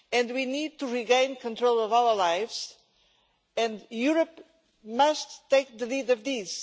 We need to regain control of our lives and Europe must take the lead in this.